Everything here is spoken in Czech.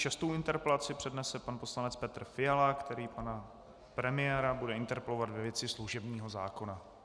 Šestou interpelaci přednese pan poslanec Petr Fiala, který pana premiéra bude interpelovat ve věci služebního zákona.